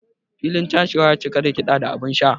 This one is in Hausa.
Filin chashewa ya cika da kida da abinsha.